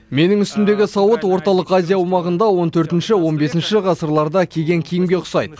менің үстімдегі сауыт орталық азия аумағында он төртінші он бесінші ғасырларда киген киімге ұқсайды